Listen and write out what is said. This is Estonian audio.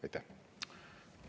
Aitäh!